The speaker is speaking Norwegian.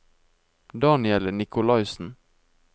Daniel Nikolaisen